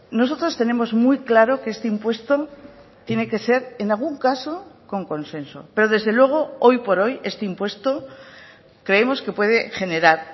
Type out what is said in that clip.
nosotros tenemos muy claro que este impuesto tiene que ser en algún caso con consenso pero desde luego hoy por hoy este impuesto creemos que puede generar